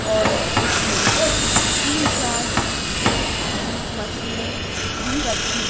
और उसमें तीन चार जिम की मशीने भी रखी--